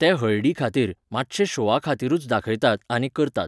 ते हळडी खातीर, मातशे शोआ खातीरूच दाखयतात आनी करतात.